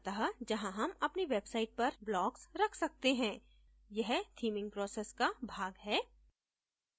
अत: जहाँ हम अपनी website पर blocks रख सकते हैं यह theming process का भाग है